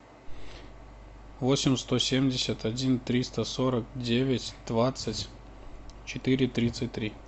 восемь сто семьдесят один триста сорок девять двадцать четыре тридцать три